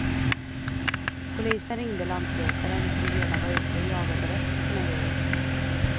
Polisen ringde lantbrukaren, som redan var ute och jagade rätt på sina djur.